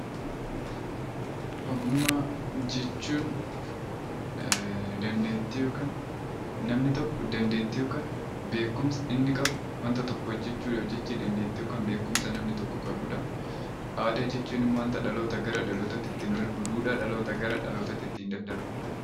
Ogummaa jechuun namni tokko dandeettii yookaan beekumsa inni qabu wanta tokko hojjachuu yookaan beekumsa namni tokko qabudha. Aadaa jechuun immoo wanta dhalootaa gara dhalootaatti darbudha.